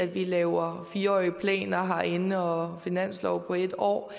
vi laver fire årige planer herinde og finanslov for en år